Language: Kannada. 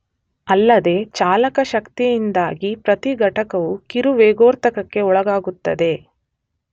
ಅಲ್ಲದೇ ಚಾಲಕ ಶಕ್ತಿಯಿಂದಾಗಿ ಪ್ರತಿ ಘಟಕವು ಕಿರು ವೇಗೋತ್ಕರ್ಷಕ್ಕೆ ಒಳಗಾಗುತ್ತದೆ.